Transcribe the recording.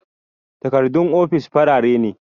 Takardun ofis farare ne